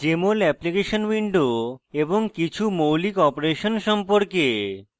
jmol application window এবং কিছু মৌলিক অপারেশন সম্পর্কে